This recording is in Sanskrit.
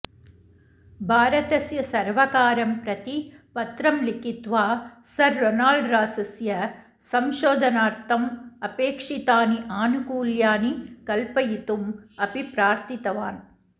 भारतस्य सर्वकारं प्रति पत्रं लिखित्वा सर् रोनाल्ड् रासस्य संशोधनार्थम् अपेक्षितानि आनुकूल्यानि कल्पयितुम् अपि प्रार्थितवान्